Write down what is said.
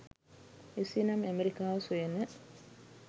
එසේනම් ඇමෙරිකාව සොයන